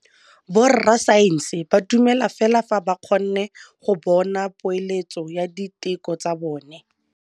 Borra saense ba dumela fela fa ba kgonne go bona poeletsô ya diteko tsa bone.